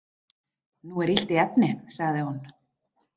Nú er illt í efni, sagði hún.